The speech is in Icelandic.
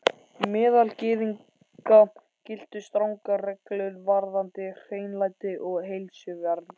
Meðal Gyðinga giltu strangar reglur varðandi hreinlæti og heilsuvernd.